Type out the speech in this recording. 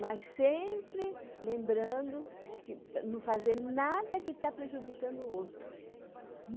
Mas sempre lembrando de não fazer nada que está prejudicando o outro.